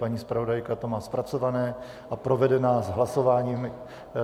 Paní zpravodajka to má zpracované a provede nás hlasováním.